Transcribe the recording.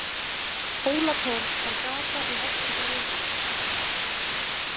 Hólatorg er gata í Vesturbæ Reykjavíkur.